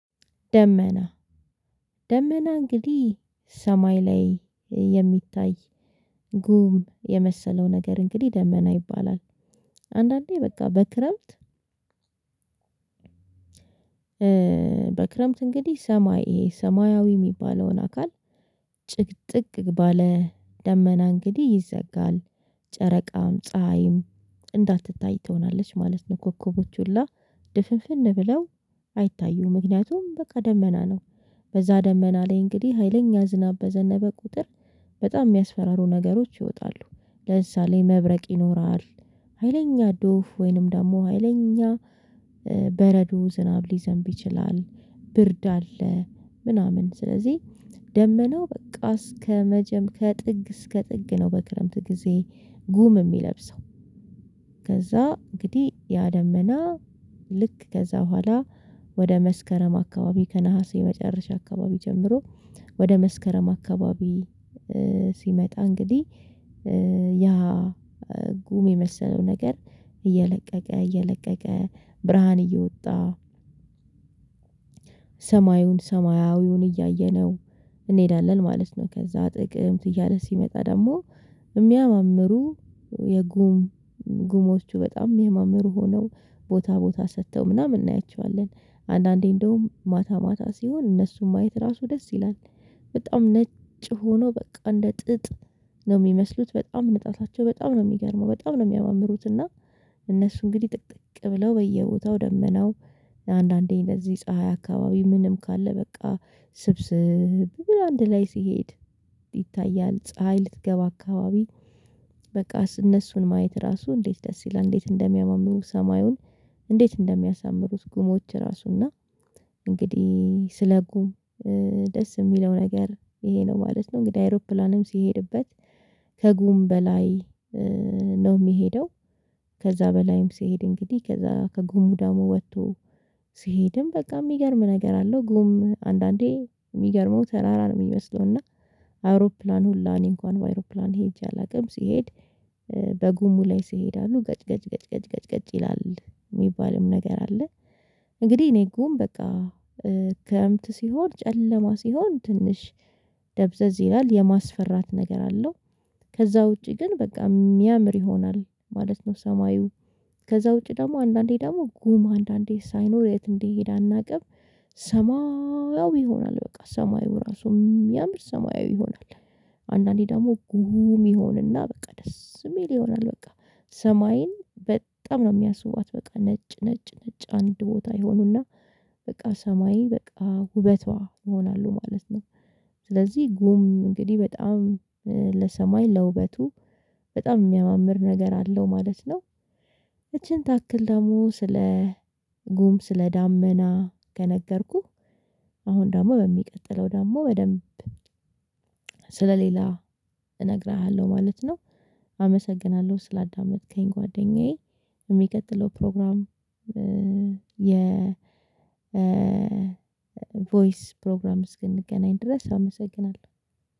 ደመና ደመና እንግዲህ ሰማይ ላይ የሚታይ ጉም የመሰለው ነገር እንግዲህ ደመና ይባላል። አንዳንዴ በቃ በክረምት በክረምት እንግዲህ ሰማይ ይሄ ሰማያዊ የሚባለውን አካል ባለ ደመና እንግዲህ ይዘጋል ጨረቃም ፀሀይም እንዳትታይ ትሆናለች ማለት ነው። ኮከቦች ሁላ ድፍፍን ብለው አይታዩም። ምክንያቱም በቃ ደመና ነው በዛ ደመና ላይ እንግዲህ ሀይለኛ ዝናብ በዘነበ ቁጥር በጣም የሚያስፈራሩ ነገሮች ይወጣሉ። ለምሳሌ መብረቅ ይኖራል። ሀይለኛ ዶፍ ወይንም ደግሞ ሀይለኛ በረዶ ዝናብ ሊዘንብ ይችላል ብርድ አለ ምናምን ስለዚህ ደመናው በቃ ከጥግ እስከ ጥግ ነው። በክረምት ጊዜ ጉም የሚለብሰው ከዛ እንግዲህ ያ ደመና ልክ ከዛ በኋላ ወደ መስከረም አካባቢ ከነሀሴ መጨረሻ አካባቢ ጀምሮ ወደ መስከረም አካባቢ ሲመጣ እንግዲህ ጉም የመሰለው ነገር እየለቀቀ እየለቀቀ ብርሃን እየወጣ ሰማዩን ሰማያዊውን እያየነው እንሄዳለን ማለት ነው። ከዛ ጥቅምት እያለ ሲመጣ ደግሞ የሚያማምሩ የጉም ጉሞቹ በጣም የሚያማምሩ ሆነው ቦታ ቦታ ሰርተው ምናምን እናያቸዋለን አንዳንዴ እንደውም ማታ ማታ ሲሆን እነሱን ማየት ራሱ ደስ ይላል። በጣም ነጭ ሆኖ በቃ እንደ ጥጥ ነው የሚመስሉት በጣም ንጣታቸው በጣም ነው የሚገርመው በጣም ነው የሚያማምሩት። እና እነሱ እንግዲህ ጥቅጥቅ ብለው በየቦታው ደመናው አንዳንዴ በዚህ ፀሀይ አካባቢ ምንም ካለ በቃ ስብስብ አንድ ላይ ሲሄድ ይታያል ፀሀይ ልትገባ አካባቢ በቃ እነሱን ማየት ራሱ እንዴት ደስ ይላል። እንዴት እንደሚያማምሩ ሰማዩን እንዴት እንደሚያሳምሩት ጉሞች ራሱ እና እንግዲህ ስለ ጉም ደስ የሚለው ነገር ይሄ ነው ማለት ነው። እንግዲህ አይሮፕላንም ሲሄድበት ከጉም በላይ ነው የሚሄደው። ከዛ በላይም ሲሄድ እንግዲህ ከዛ ከጉሙዳሙ ወጥቶ ሲሄድም በቃ የሚገርም ነገር አለው። ጉም አንዳንዴ የሚገርመው ተራራ ነው የሚመስለው። እና አውሮፕላን ሁላ እኔ እንኳን በአውሮፕላን ሄጄ አላውቅም ስሄድ በጉሙ ላይ ሲሄድ አሉ ገጭ ገጭ ገጭ ገጭ ገጭ ገጭ ይላል የሚባልም ነገር አለ። እንግዲህ እኔ ጉም በቃ ክረምት ሲሆን ጨለማ ሲሆን ትንሽ ደብዘዝ ይላል የማስፈራት ነገር አለው። ከዛ ውጪ ግን በቃ የሚያምር ይሆናል ማለት ነው። ሰማዩ ከዛ ውጪ ደግሞ አንዳንዴ ደግሞ ጉም አንዳንዴ ሳይኖር የት እንደሄደ አናውቅም? ሰማያዊ ይሆናል በቃ ሰማዩ ራሱ የሚያምር ሰማያዊ ይሆናል። አንዳንዴ ደግሞ ጉም ሙሉ ይሆን እና በቃ ደስ የሚል ይሆናል። በቃ ሰማይን በጣም ነው የሚያስዉባት በቃ ነጭ ነጭ ነጭ አንድ ቦታ ይሆኑ እና በቃ ሰማይን በቃ ውበቷ ይሆናሉ ማለት ነው። ስለዚህ ጉም እንግዲህ በጣም ለሰማይ ለውበቱ በጣም የሚያማምር ነገር አለው ማለት ነው። ይቺን ታክል ደግሞ ስለ ጉም ስለ ዳመና ከነገርኩህ አሁን ደግሞ በሚቀጥለው ደግሞ በደንብ ስለሌላ እነግርሃለሁ ማለት ነው። አመሰግናለሁ ስላዳመጥከኝ ጓደኛዬ። የሚቀጥለው ፕሮግራም የ ቮይስ ፕሮግራም እስክንገናኝ ድረስ አመሰግናለሁ